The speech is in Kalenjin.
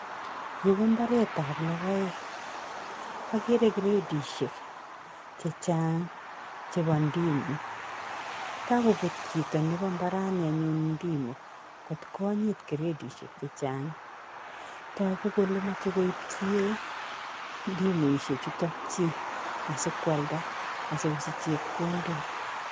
Yuu kombaretab lokoek, okeree gredishek chechang cheboo ndimo, kakobut chito neboo mbarani anyun ndimo kot konyit gredishek chechang tokuu kelee moche sikoib ndimoishechuton asikwalda asikosich chepkondok.